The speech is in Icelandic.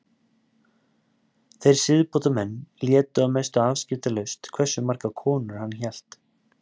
Þeir siðbótarmenn létu að mestu afskiptalaust hversu margar konur hann hélt.